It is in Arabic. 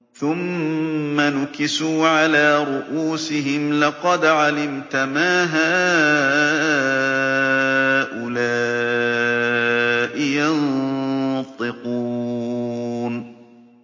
ثُمَّ نُكِسُوا عَلَىٰ رُءُوسِهِمْ لَقَدْ عَلِمْتَ مَا هَٰؤُلَاءِ يَنطِقُونَ